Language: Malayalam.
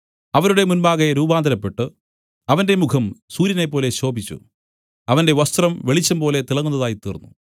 അവരുടെ മുമ്പാകെ രൂപാന്തരപ്പെട്ടു അവന്റെ മുഖം സൂര്യനെപ്പോലെ ശോഭിച്ചു അവന്റെ വസ്ത്രം വെളിച്ചംപോലെ തിളങ്ങുന്നതായി തീർന്നു